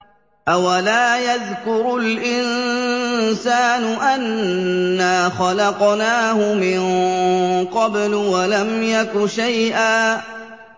أَوَلَا يَذْكُرُ الْإِنسَانُ أَنَّا خَلَقْنَاهُ مِن قَبْلُ وَلَمْ يَكُ شَيْئًا